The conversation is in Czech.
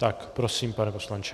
Tak prosím, pane poslanče.